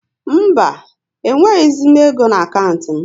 Mba, e nweghịzi m égo n' akantị m